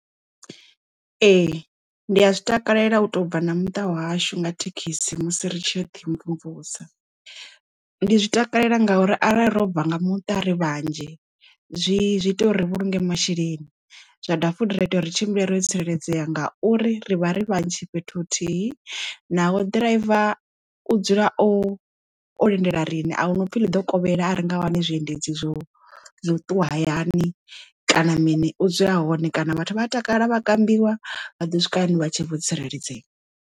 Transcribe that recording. Ee ndi a zwi takalela u to bva na muṱa wahashu nga thekhisi musi ri tshi ya uḓi mvumvusa ndi zwi takalela ngauri arali robva nga muṱa ri vhanzhi zwi ita uri ri vhulunge masheleni zwa da futhi zwa ita uri tshimbila ro tsireledzea ngauri ri vha ri vhanzhi fhethu huthihi naho ḓiraiva u dzula o o lindela rine ahuna upfhi ḽi ḓo kovhela a renga wane zwiendedzi zwo ṱuwa hayani kana mini u dzula hone kana vhathu vha a takala vha kambiwa vha ḓo swika hayani vha tshe vho tsireledzea.